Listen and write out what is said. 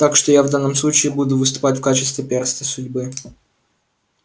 так что я в данном случае буду выступать в качестве перста судьбы